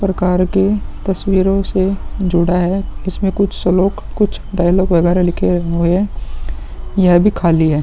प्रकार की तस्वीरो से जुड़ा है। इसमें कुछ श्लोक कुछ डायलाग वगैरहलिखे हुऐ हैं। यह भी खाली है।